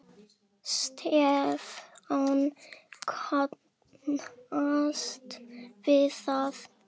Stefán kannast við það.